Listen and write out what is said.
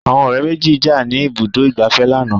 Àwọn ọ̀rẹ́ méjì jà ní ibùdó ìgbafẹ́ lánàá.